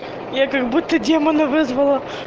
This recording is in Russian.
я как будто демона вызвала